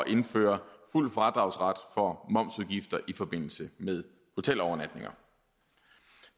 indføres fuld fradragsret for momsudgifter i forbindelse med hotelovernatninger